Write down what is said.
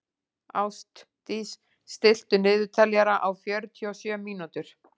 Ástdís, stilltu niðurteljara á fjörutíu og sjö mínútur.